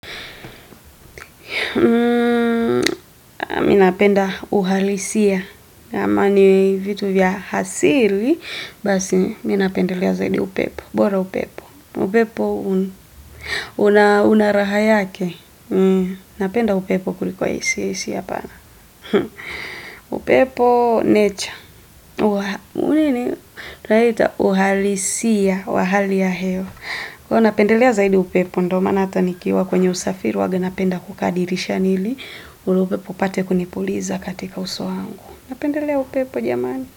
Minapenda uhalisia kama ni vitu vya hasili Basi minapendelea zaidi upepo bora upepo upepo unaraha yake Napenda upepo kuliko AC, AC apana upepo nature Unini Twaita uhalisia wa hali ya hewa kwa napendelea zaidi upepo ndo maana ata nikiwa kwenye usafiri uwaga napenda kukaa dirishani ili ule upepo upate kunipuliza katika uso wangu Napendelea upepo jamani.